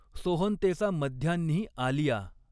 सोहंतेचा मध्यान्हीं आलिया।